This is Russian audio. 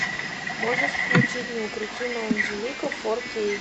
можешь включить неукротимая анжелика фор кей